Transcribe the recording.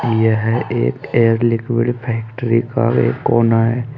यह एक air liquid factory का एक कोना है।